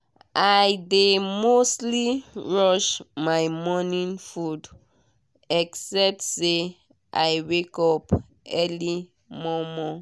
i dey mostly rush my morning food except say i wake up early mor mor